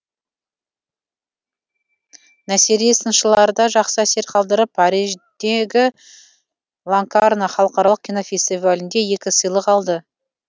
насери сыншыларда жақсы әсер қалдырып париждегі локарно халықаралық кинофестивалінде екі сыйлық алды